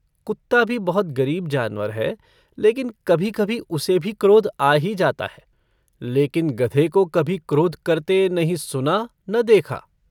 कुत्ता भी बहुत गरीब जानवर है लेकिन कभीकभी उसे भी क्रोध आ ही जाता है लेकिन गधे को कभी क्रोध करते नहीं सुना न देखा।